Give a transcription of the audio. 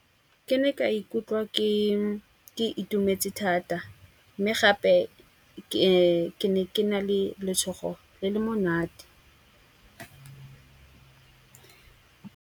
Ke ne ka ikutlwa ke itumetse thata. Mme gape ke ne ke na le letshogo le le monate.